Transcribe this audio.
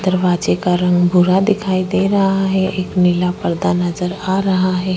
दरवाजे के रंग भूरा दिखाई दे रहा हैं एक नीला पर्दा दिखाई दे रहा हैं।